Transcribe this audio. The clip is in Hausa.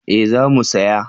Eh za mu saya